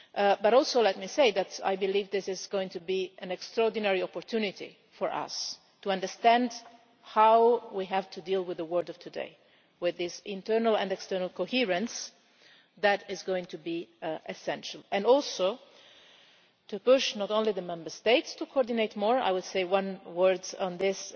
But I believe this is going to be an extraordinary opportunity for us to understand how we have to deal with the world of today, with this internal and external coherence that is going to be essential, and also to push not only the Member States to coordinate more I would say one word on this